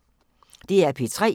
DR P3